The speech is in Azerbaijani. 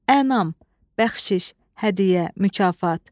Ənam, bəxşiş, hədiyyə, mükafat.